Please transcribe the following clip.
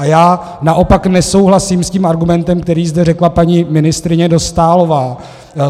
A já naopak nesouhlasím s tím argumentem, který zde řekla paní ministryně Dostálová.